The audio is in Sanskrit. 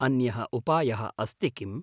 अन्यः उपायः अस्ति किम्?